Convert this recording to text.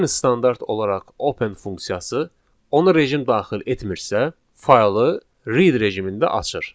Yəni standart olaraq open funksiyası ona rejim daxil etmirsə, faylı read rejimində açır.